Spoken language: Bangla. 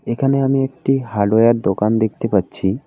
এখানে আমি একটি হার্ডওয়ার দোকান দেখতে পাচ্ছি।